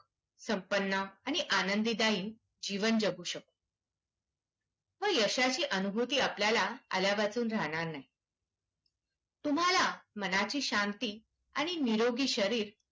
संपन्न आणि आनंदीदायी जीवन जगू शकतो. व यशाची अनुभूती आपल्याला आल्यावाचून राहणार नाही. तुम्हाला मनाची शांती आणि निरोग शरीर